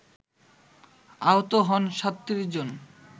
আহত হন ৩৭ জন